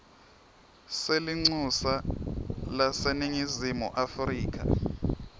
selincusa laseningizimu afrika